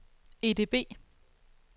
EDB